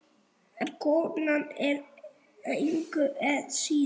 En kona engu að síður.